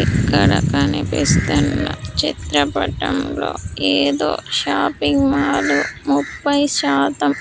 ఇక్కడ కనిపిస్తున్న చిత్రపటంలో ఏదో షాపింగ్ మాల్ ముపై శాతం